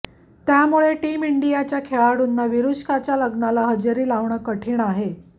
त्यामुळे टीम इंडियाच्या खेळाडुंना विरूष्काच्या लग्नाला हजेरी लावणं कठीण आहे